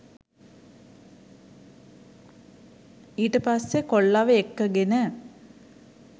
ඊට පස්සෙ කොල්ලව එක්කගෙන